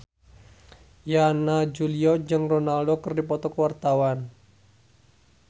Yana Julio jeung Ronaldo keur dipoto ku wartawan